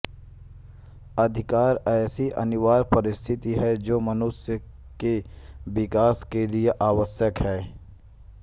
अधिकार ऐसी अनिवार्य परिस्थिति है जो मनुष्य के विकास के लिए आवश्यक है